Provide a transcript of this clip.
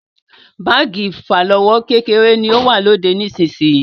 Báàgì ìfàlọ́wọ́ kékeré ni ó wà lóde nísisìyìí.